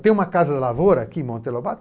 Tem uma Casa da Lavoura aqui em Monteiro Lobato?